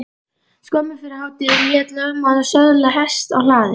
Skömmu fyrir hádegi lét lögmaður söðla hest á hlaði.